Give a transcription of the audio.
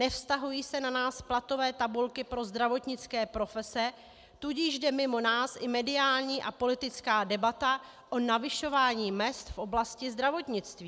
Nevztahují se na nás platové tabulky pro zdravotnické profese, tudíž jde mimo nás i mediální a politická debata o navyšování mezd v oblasti zdravotnictví.